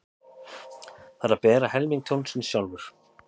Þarf að bera helming tjónsins sjálfur